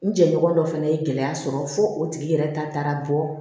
N jɛɲɔgɔn dɔ fana ye gɛlɛya sɔrɔ fo o tigi yɛrɛ ta taara bɔ